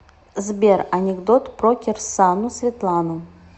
сбер анекдот про кирсану светлану